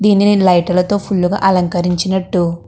దీనిని లైట్ లతో ఫుల్ గా అలంకరించినట్టు --